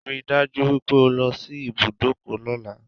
Rí i dájú wípé o lọ sí ibùdọ́kọ̀ lọ́la